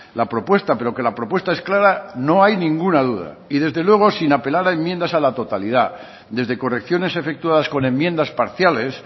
la propuesta pero que la propuesta es clara no hay ninguna duda y desde luego sin apelar a enmiendas a la totalidad desde correcciones efectuadas con enmiendas parciales